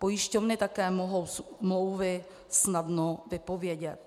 Pojišťovny také mohou smlouvy snadno vypovědět.